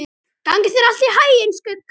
Gangi þér allt í haginn, Skugga.